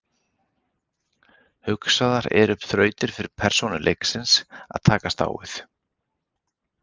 Hugsaðar eru upp þrautir fyrir persónur leiksins að takast á við.